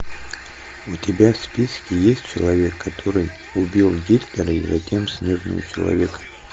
у тебя в списке есть человек который убил гитлера и затем снежного человека